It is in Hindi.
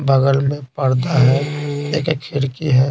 बगल में पर्दा है एक खिड़की है।